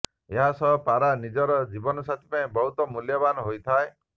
ଏହା ସହ ପାରା ନିଜର ଜୀବନ ସାଥୀ ପାଇଁ ବହୁତ ମୂଲ୍ୟବାନ ହୋଇଥାଏ